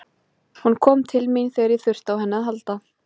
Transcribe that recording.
Hún kom til mín þegar ég þurfti á henni að halda.